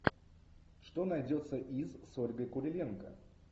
что найдется из с ольгой куриленко